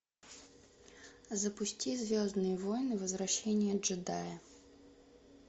запусти звездные войны возвращение джедая